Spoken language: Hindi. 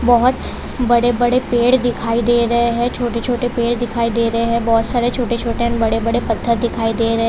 बहोत बड़े बड़े पेड़ दिखाई दे रहे है छोटे छोटे पेड़ दिखाई दे रहे है बहोत सारे छोटे छोटे बड़े बड़े पत्थर दिखाई दे रहे --